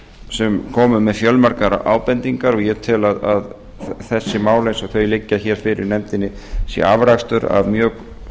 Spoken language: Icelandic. sem komu með fjölmargar ábendingar og ég tel að þessi mál eins og þau liggja fyrir nefndinni sé afrakstur af mjög